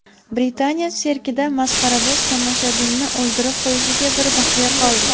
Britaniya sirkida masxaraboz tomoshabinni o‘ldirib qo‘yishiga bir baxya qoldi .